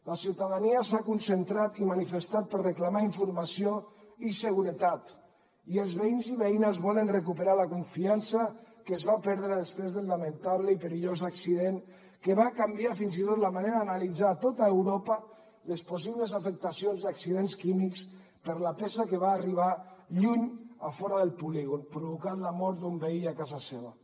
la ciutadania s’ha concentrat i manifestat per reclamar informació i seguretat i els veïns i veïnes volen recuperar la confiança que es va perdre després del lamentable i perillós accident que va canviar fins i tot la manera d’analitzar a tota europa les possibles afectacions d’accidents químics per la peça que va arribar lluny a fora del polígon provocant la mort d’un veí a casa seva